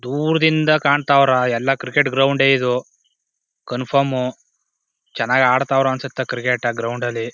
ದೂರದಿಂದ ಕಾಂತಾವರ ಎಲ್ಲ cricket ground ಇದು ಕಂಫಾರ್ಮ್ ಚನ್ನಾಗ್ ಅಡ್ತವರ ಅನ್ಸುತ್ತೆ ಕ್ರಿಕೆಟ್ ಆ ಗ್ರೌಂಡ್ ಅಲ್ಲಿ--